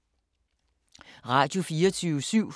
Radio24syv